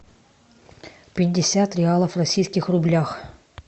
пятьдесят реалов в российских рублях